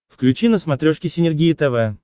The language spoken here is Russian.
включи на смотрешке синергия тв